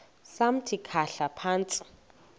samthi khahla phantsi